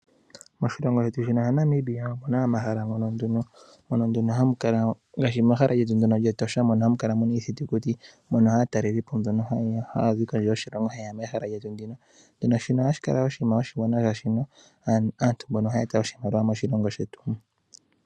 Moshilongo shetu Namibia omu na omahala ngaashi Etosha, mono hamu kala iithitukuti mono aatalelipo haye ya mbono haya zi kondje yoshilongo. Ohashi kala oshinima oshiwanwa, oshoka asntu mbaka ohaya eta oshimaliwa moshilongo shetu.